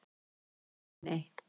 Nei nei!